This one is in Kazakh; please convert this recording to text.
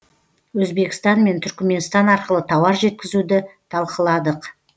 өзбекстан мен түрікменстан арқылы тауар жеткізуді талқыладық